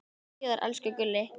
Sjáumst síðar, elsku Gulli.